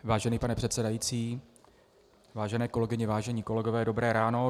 Vážený pane předsedající, vážené kolegyně, vážení kolegové, dobré ráno.